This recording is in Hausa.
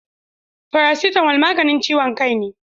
Farasitamo maganin ciwon kai ne